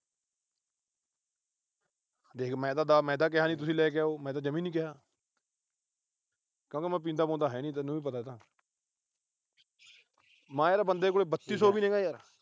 ਦੇਖ ਮੈਂ ਤਾਂ ਕਿਹਾ ਨੀ ਤੁਸੀਂ ਲੈ ਕੇ ਆਓ। ਮੈਂ ਤਾਂ ਜਮਾ ਈ ਨੀ ਕਿਹਾ। ਕਿਉਂਕਿ ਮੈਂ ਪੀਂਦਾ ਪੂੰਦਾਂ ਹੈ ਨਹੀਂ, ਤੈਨੂੰ ਵੀ ਪਤਾ ਇਹ ਤਾਂ। ਮੈਂ ਕਿਹਾ ਬੰਦੇ ਕੋਲ ਬੱਤੀ ਸੌ ਵੀ ਨੀ ਹੈਗਾ ਯਾਰ।